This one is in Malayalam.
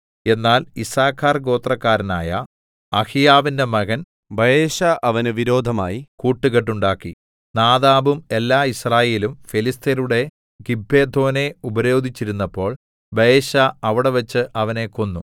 എന്നാൽ യിസ്സാഖാർഗോത്രക്കാരനായ അഹിയാവിന്റെ മകൻ ബയെശാ അവന് വിരോധമായി കൂട്ടുകെട്ടുണ്ടാക്കി നാദാബും എല്ലാ യിസ്രായേലും ഫെലിസ്ത്യരുടെ ഗിബ്ബെഥോനെ ഉപരോധിച്ചിരുന്നപ്പോൾ ബയെശാ അവിടെവച്ച് അവനെ കൊന്നു